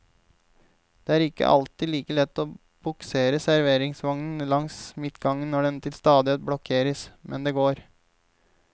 Det er ikke alltid like lett å buksere serveringsvognen langs midtgangen når den til stadighet blokkeres, men det går.